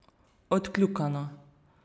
Odkljukano.